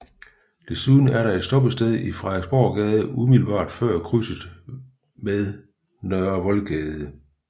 Desuden er der et stoppested i Frederiksborggade umiddelbart før krydset med Nørre Voldgade